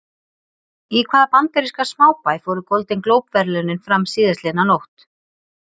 Í hvaða bandaríska smábæ fóru Golden Globe verðlaunin fram síðastliðna nótt?